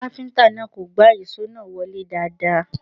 Kápíntà náà kò gbá ìṣó náà wọlé dáadáa